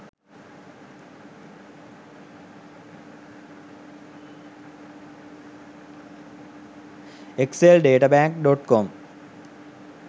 exceldetabank.com